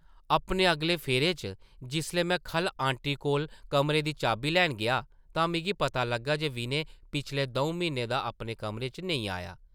अपने अगले फेरे च जिसलै में खʼल्ल ऑंटी कोल कमरे दी चाबी लैन गेआ तां मिगी पता लग्गा जे विनय पिछले दʼऊं म्हीनें दा अपने कमरे च नेईं आया ।